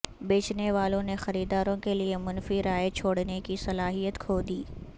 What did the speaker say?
بیچنے والوں نے خریداروں کے لئے منفی رائے چھوڑنے کی صلاحیت کھو دی